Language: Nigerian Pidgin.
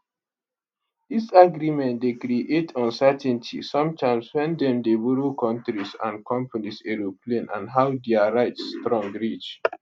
dis agreement dey creates uncertainty sometimes wen dem dey borrow kontris and companies aeroplane and how dia rights strong reach